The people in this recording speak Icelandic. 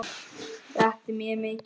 Þetta er mér mikill missir.